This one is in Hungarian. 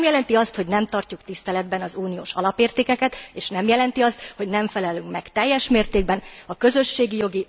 Ez nem jelenti azt, hogy nem tartjuk tiszteletben az uniós alapértékeket, és nem jelenti azt, hogy nem felelünk meg teljes mértékben a közösségi jogi, vagy nemzetközi jogi elvárásainknak.